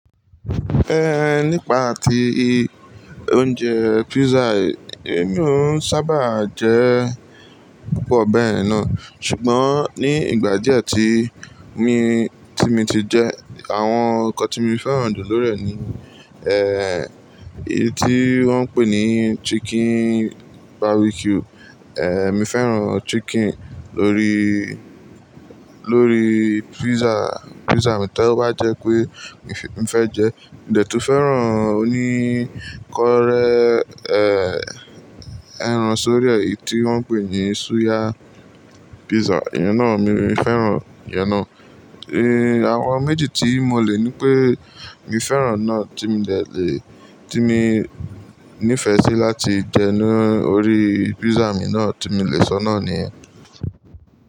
Ehn, nípa ti oúnjẹ pizza, èmi ò sábà jẹ púpọ̀ bẹ́ẹ̀ náà. Ṣùgbọ́n ní ìgbà díẹ̀ tí mi, tí mi ti jẹ, àwọn nǹkan tí mo fẹ́ràn jù lórí rẹ̀ ni, eh, èyí tí wọ́n ń pè ní chicken barbecue, eh, mi fẹ́ràn chicken lórí, lórí pizza, pizza mi tí ó bá jẹ́ pé mi fẹ́ jẹ. Mo dẹ̀ tún fẹ́ràn oníkọ́rẹ́, eh, ẹran sórí èyí tí wọ́n ń pè ní suya pizza, ìyẹn náà mi fẹ́ràn ìyẹn náà. Eh, àwọn méjì tí mo lè ní pé mi fẹ́ràn náà tí mi dẹ̀ lè, tí mi ní ìfẹ́ sí láti jẹ ni orí pizza mi náà tí mo lè sọ náà ni ẹ́.